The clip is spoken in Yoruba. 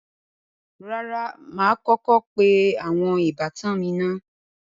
Rárá, mà á kọ́kọ́ pe àwọn ìbátan mi naá